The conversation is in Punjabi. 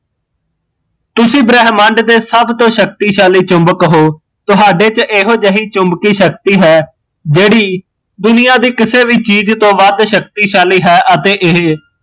ਤੁਸੀਂ ਬ੍ਰਹਮੰਡ ਦੇ ਸਬ ਤੋਂ ਸ਼ਕਤਿਸ਼ਕੀ ਚੁਬੱਕ ਹੋ ਤੁਹਾਡੇ ਚ ਇਹੋ ਜਹੀ ਚੁਮਬਕੀਂ ਸ਼ਕਤੀ ਹੈ, ਜਿਹੜੀ ਦੁਨੀਆ ਦੀ ਕਿਸੇ ਵੀ ਚੀਜ਼ ਤੋਂ ਵੱਧ ਸ਼ਕਤੀਸ਼ਾਲੀ ਹੈ ਅਤੇ ਇਹ